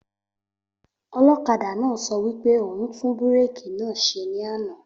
Olókadà náà sọ wípé òhún tún búrèkì náà ṣẹ ní àná